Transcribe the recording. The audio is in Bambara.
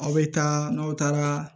Aw bɛ taa n'aw taara